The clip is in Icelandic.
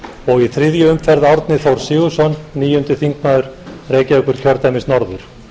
og í þriðju umferð árni þór sigurðsson níundi þingmaður reykjavíkurkjördæmis norður